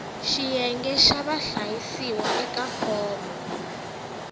xiyenge xa vahlayisiwa eka fomo